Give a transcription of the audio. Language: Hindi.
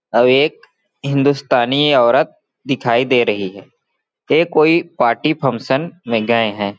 आउ एक हिंदुस्तानी औरत दिखाई दे रही है ये कोई पार्टी फंक्शन में गए हैं।